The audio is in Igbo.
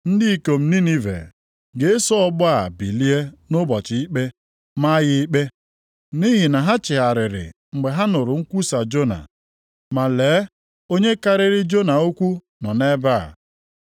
Ndị ikom Ninive ga-eso ọgbọ a bilie nʼụbọchị ikpe maa ya ikpe. Nʼihi na ha chegharịrị mgbe ha nụrụ nkwusa Jona. Ma lee onye karịrị Jona ukwuu nọ nʼebe a.